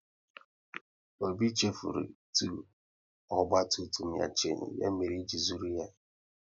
Obi chefuru itu ọgba tum tum ya shanu, ya mere eji zụrụ ya